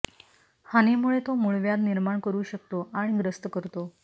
हानीमुळे तो मूळव्याध निर्माण करू शकतो आणि ग्रस्त करतो